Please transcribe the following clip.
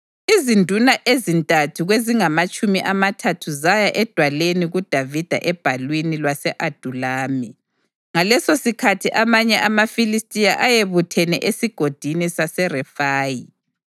Izinduna ezintathu kwezingamatshumi amathathu zaya edwaleni kuDavida ebhalwini lwase-Adulami, ngalesosikhathi amanye amaFilistiya ayebuthene eSigodini saseRefayi.